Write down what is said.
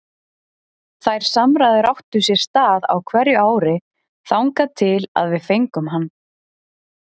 Þær samræður áttu sér stað á hverju ári þangað til að við fengum hann.